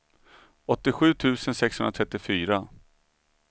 åttiosju tusen sexhundratrettiofyra